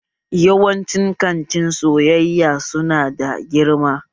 Yawanci kantin sayayya su na da girma